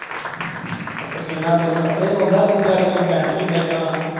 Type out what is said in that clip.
ਤੇ ਪਸੀਨਾ ਤੈਨੂੰ ਕੱਲੇ ਨੂੰ ਆਉਦਾ ਤੂੰ ਗਾੜੀ ਕਪੈਨ ਚੋਂ ਖਿੱਚਣਾ ਨਾ।